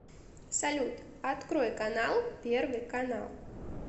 салют открой канал первый канал